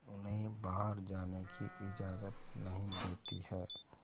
उन्हें बाहर जाने की इजाज़त नहीं देती है